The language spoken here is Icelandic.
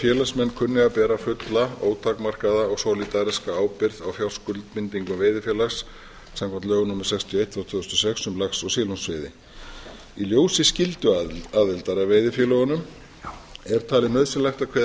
félagsmenn kunni að bera fulla ótakmarkaða og solidariska ábyrgð á fjárskuldbindingum veiðifélags samkvæmt lögum númer sextíu og eitt tvö þúsund og sex um lax og silungsveiði í ljósi skylduaðildar að veiðifélögunum er talið nauðsynlegt að kveða